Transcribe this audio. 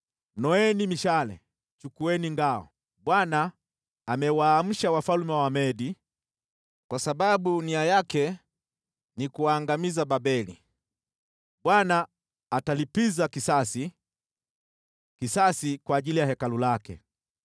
“Noeni mishale, chukueni ngao! Bwana amewaamsha wafalme wa Wamedi, kwa sababu nia yake ni kuangamiza Babeli. Bwana atalipiza kisasi, kisasi kwa ajili ya Hekalu lake.